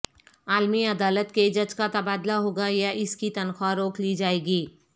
عالمی عدالت کے جج کا تبادلہ ہوگا یا اس کی تنخواہ روک لی جائے گی